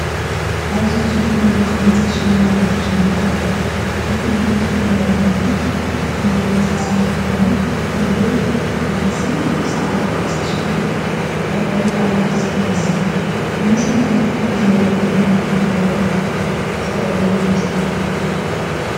ኣዝዩ ጽቡቕን ብውቁብን ዝተሸለመ ኣዳራሽ መርዓ ይርአ። እቲ ቦታ ብዕምባባታትን ሓምላይን ዝተሰለመ ኮይኑ፡ እቲ ልዑል ናሕሲ ብጻዕዳ ጨርቂ ዝተሸፈነ እዩ። ፍቕራዊ ወይ በዓላዊ ፍጻመ ይመስል። ብመሰረት ናትኩም እዚ መደብ ንምንታይ ከም ውራይ ዝተዳለወ ይመስለኩም?